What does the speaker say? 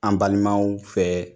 An balimaw fɛ